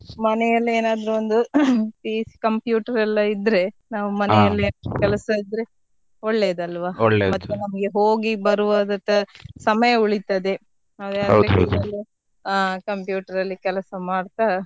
ಮನೆಯಲ್ಲೇ ಏನಾದ್ರು ಒಂದು computer ಎಲ್ಲ ಇದ್ರೆ ನಾವು ಮನೆಯಲ್ಲೇ ಕೆಲಸ ಇದ್ರೆ ಒಳ್ಳೆದಲ್ವಾ ಮತ್ತೆ ನಮಗೆ ಹೋಗಿ ಬರುವಾಗ ಸಮಯ ಉಳಿತದೆ ಆ computer ಅಲ್ಲಿ ಕೆಲಸ ಮಾಡ್ತಾ.